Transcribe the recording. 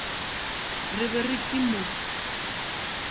re ba re ke mo